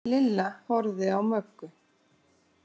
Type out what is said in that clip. Lilla horfði á Möggu.